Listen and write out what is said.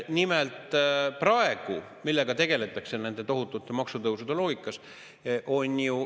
Nimelt, millega praegu tegeldakse nende tohutute maksutõusude loogikas?